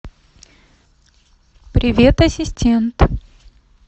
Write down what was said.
привет ассистент